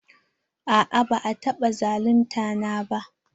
A'a ba a taɓa zalunta na ba.